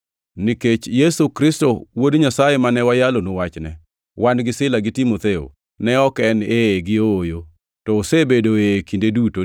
Nikech Yesu Kristo, Wuod Nyasaye, mane wayalonu wachne, wan gi Sila gi Timotheo, ne ok en “ee” gi “ooyo” to osebedo “ee” kinde duto,